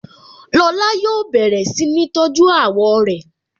Lọ́la yóò bẹ̀rẹ̀ si ni tọ́jú àwọ̀ rẹ